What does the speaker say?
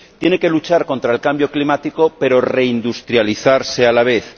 Tiene que luchar contra el cambio climático, pero reindustrializarse a la vez.